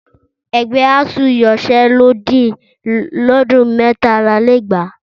Ẹgbẹ́ ASUU yanṣẹ́lódì lọ́dún mẹ́tàlálélẹ́gbàá